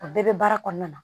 O bɛɛ bɛ baara kɔnɔna na